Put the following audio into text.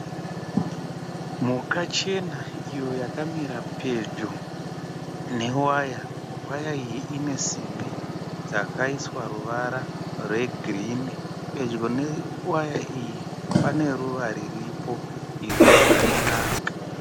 Mhuka chena iyo yakamira pedyo newaya. Waya iyi ine simbi dzakaiswa ruvara rwegirinhi. Pedyo newaya iyi pane ruva riripo iro rakanaka.